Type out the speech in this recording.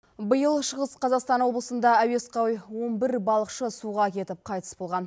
биыл шығыс қазақстан облысында әуесқой он бір балықшы суға кетіп қайтыс болған